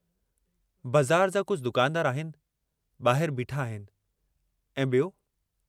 बज़ार जा कुझ दुकानदार आहिनि, बाहिर बीठा आहिनि, ऐं